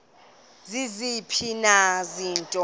ziziphi na izinto